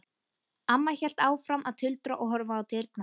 Amma hélt áfram að tuldra og horfa á dyrnar.